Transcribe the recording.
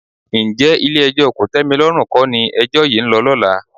Ǹjẹ́ Ilé-ẹjọ́ kòtẹ́milọ́rùn kọ́ ni ẹjọ́ yìí ń lọ lọ́la?